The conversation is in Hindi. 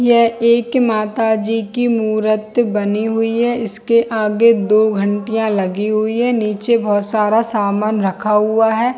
यह एक माता जी मूर्त बनी हुई है इसके आगे दो घंटियां लगी हुई है नीचे बहुत सारा सामान रखा हुआ है।